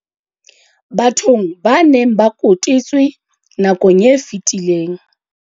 Bathong ba neng ba kotetswe nakong e fetileng.